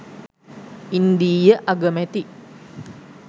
ඉන්දීය අගමැති